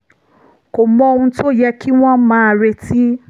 kò mọ ohun tó yẹ kí wọ́n máa retí